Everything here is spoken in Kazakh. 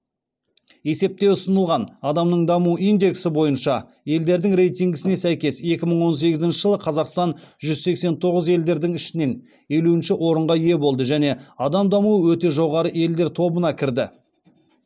есепте ұсынылған адамның даму индексі бойынша елдердің рейтингісіне сәйкес екі мың он сегізінші жылы қазақстан жүз сексен тоғыз елдердің ішінен елуінші орынға ие болды және адам дамуы өте жоғары елдер тобына кірді